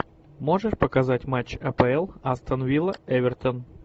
можешь показать матч апл астон вилла эвертон